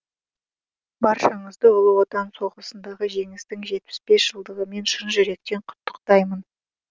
баршаңызды ұлы отан соғысындағы жеңістің жетпіс бес жылдығымен шын жүректен құттықтаймын